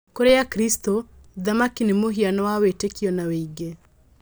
Kũrĩ akristo thamaki nĩ mũhiano wa wĩtĩkio na wĩingĩ